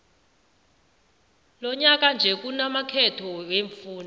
lonyaka nje kunamakhetho wemfunda